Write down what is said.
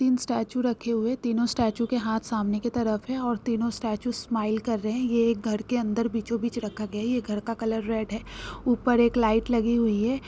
तीन स्टैचू रखे है तीनों स्टैचू के हाथ सामने के तरफ है और तीनों स्टैचू स्माइल कर रहे है ये एक घर के अंदर बीचों बीचों रखा गया है ये घर का कलर रेड है ऊपर एक लाइट लगी हुई है।